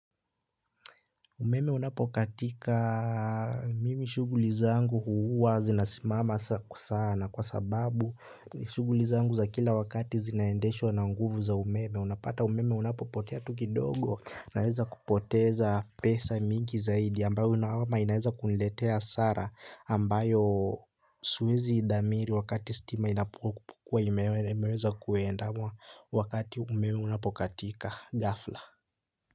Umeme unapokatika mimi shughuli zangu huwa zinasimama sana kwa sababu shughuli zangu za kila wakati zinaendeshwa na nguvu za umeme unapata umeme unapopotea tuki dogo naweza kupoteza pesa mingi zaidi ambayo inaweza kuletea hasara ambayo siwezi idamiri wakati stima inapokukua imeweza kuenda wakati umeme unapokatika gafla.